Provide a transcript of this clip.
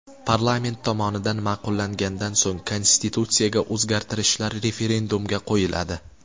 Parlament tomonidan ma’qullangandan so‘ng konstitutsiyaga o‘zgartirishlar referendumga qo‘yiladi.